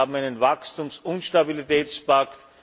Wir haben einen Wachstums und Stabilitätspakt.